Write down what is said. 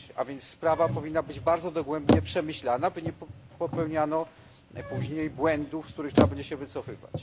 A więc sprawa powinna być bardzo dogłębnie przemyślana, by nie popełniano później błędów, z których trzeba będzie się wycofywać.